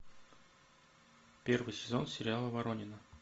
первый сезон сериала воронины